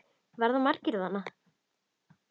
Verða margir þarna?